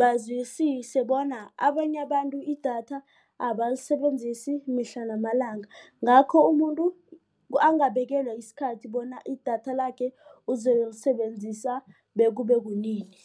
bazwisise bona abanye abantu idatha abalisebenzisi mihla namalanga. Ngakho umuntu angabekelwa isikhathi bona idatha lakhe uzokulisebenzisa bekube kunini.